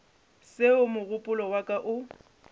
seo mogopolo wa ka o